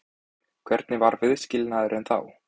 Hvernig var viðskilnaðurinn þá?